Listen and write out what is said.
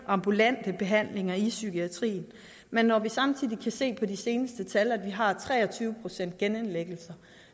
ambulante behandlinger i psykiatrien men når vi samtidig kan se på de seneste tal at vi har tre og tyve procent genindlæggelser